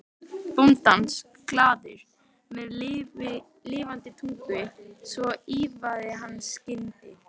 bóndans, glaður, með lafandi tungu, svo ýlfraði hann skyndi